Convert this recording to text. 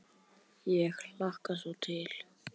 Ég hlakka svo Til.